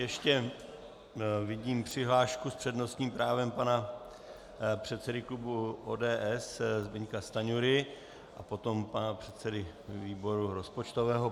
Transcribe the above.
Ještě vidím přihlášku s přednostním právem pana předsedy klubu ODS Zbyňka Stanjury a potom pana předsedy výboru rozpočtového.